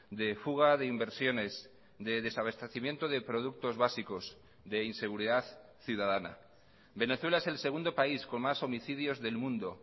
de fuga de inversiones de desabastecimiento de productos básicos de inseguridad ciudadana venezuela es el segundo país con más homicidios del mundo